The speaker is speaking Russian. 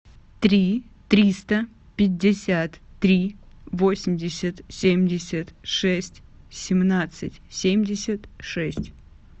три триста пятьдесят три восемьдесят семьдесят шесть семнадцать семьдесят шесть